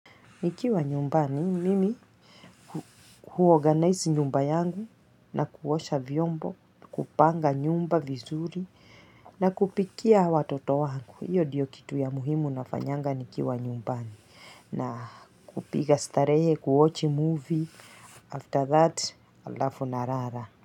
Nikiwa nyumbani, mimi huorganize nyumba yangu na kuosha vyombo, kupanga nyumba vizuri na kupikia watoto wangu. Iyo diyo kitu ya muhimu nafanyanga nikiwa nyumbani. Na kupiga starehe, kuochi movie. After that, alafu narara.